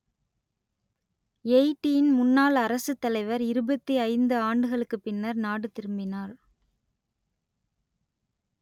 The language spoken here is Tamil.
எயிட்டியின் முன்னாள் அரசுத்தலைவர் இருபத்தி ஐந்து ஆண்டுகளுக்குப் பின்னர் நாடு திரும்பினார்